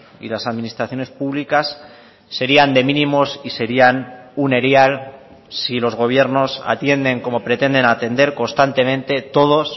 y las administraciones públicas serían de mínimos y serían un erial si los gobiernos atienden como pretenden atender constantemente todos